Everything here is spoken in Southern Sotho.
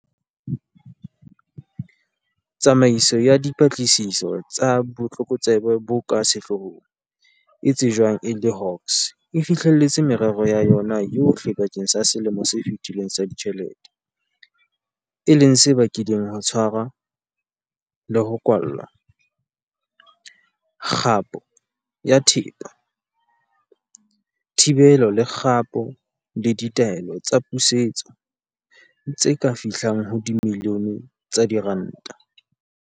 Tsamaiso ya Dipatlisiso tsa Botlokotsebe bo ka Sehloohong, e tsejwang e le Hawks, e fihlelletse merero ya yona yohle bakeng sa selemo se fetileng sa ditjhelete, e leng se bakileng ho tshwarwa le ho kwallwa, kgapo ya thepa, thibelo le kgapo le ditaelo tsa pusetso tse ka fihlang ho dimilione tsa diranta.